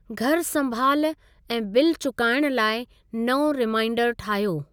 घरु संभालु ऐं बिल चुकाइण लाइ नओं रिमाइंडर ठाहियो।